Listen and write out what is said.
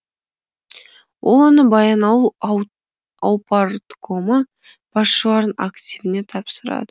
ол оны баянауыл аупарткомы басшыларының активіне тапсырады